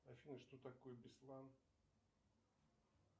афина что такое беслан